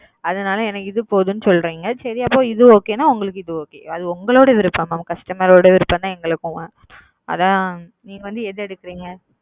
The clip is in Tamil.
அதனால் எனக்கு இது பொதும் சொல்றிங்க உங்களுக்கு இது okay அது உங்களோட விறுப்பாம் உங்களோட விருப்பம் எங்களுக்கும்